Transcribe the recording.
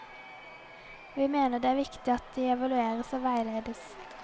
Vi mener det er viktig at de evalueres og veiledes.